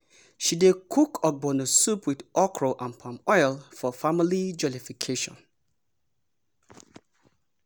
she dey cook ogbono soup with okra and palm oil for family jollification.